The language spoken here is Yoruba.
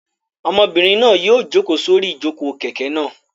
Ọmọbìnrin náà yóò jókòó sórí ìjókòó kẹ̀kẹ́ náà.